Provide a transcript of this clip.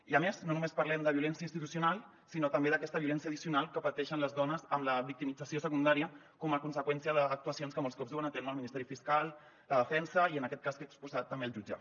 i a més no només parlem de violència institucional sinó també d’aquesta violència addicional que pateixen les dones amb la victimització secundària com a conseqüència d’actuacions que molts cops duen a terme el ministeri fiscal la defensa i en aquest cas que he exposat també el jutge